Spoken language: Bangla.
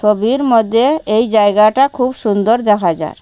ছবির মদ্যে এই জায়গাটা খুব সুন্দর দেখা যার।